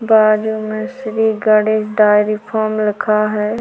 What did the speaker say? बाजू मे Shri Ganesh dairy farm लिखा हैं।